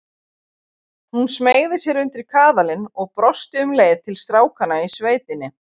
Hún smeygði sér undir kaðalinn og brosti um leið til strákanna í sveitinni.